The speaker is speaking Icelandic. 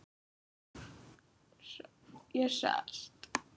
Ég sest.